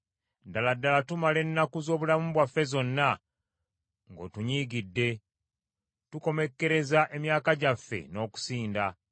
Ddala ddala tumala ennaku z’obulamu bwaffe zonna ng’otunyiigidde; tukomekkereza emyaka gyaffe n’okusinda.